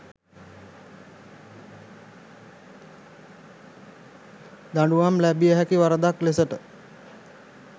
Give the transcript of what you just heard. දඬුවම් ලැබිය හැකි වරදක් ලෙසට